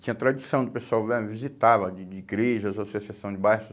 Tinha tradição, o pessoal né visitava de de igrejas, associação de bairros.